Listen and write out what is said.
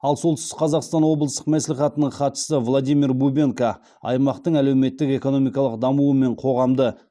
ал солтүстік қазақстан облыстық мәслихатының хатшысы владимир бубенко аймақтың әлеуметтік экономикалық дамуы мен қоғамды